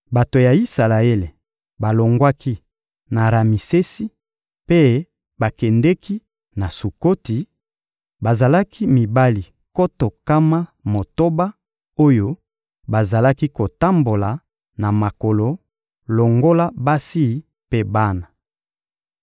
Bato ya Isalaele balongwaki na Ramisesi mpe bakendeki na Sukoti; bazalaki mibali nkoto nkama motoba oyo bazalaki kotambola na makolo longola basi mpe bana.